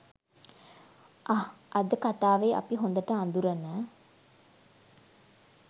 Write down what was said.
අහ් අද කතාවෙ අපි හොඳට අඳුරන